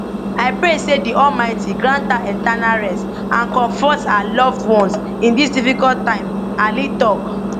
i pray say di almighty grant her eternal rest and comforts her loved ones in this difficult time alli tok